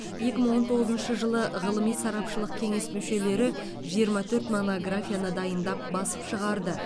екі мың он тоғызыншы жылы ғылыми сарапшылық кеңес мүшелері жиырма төрт монографияны дайындап басып шығарды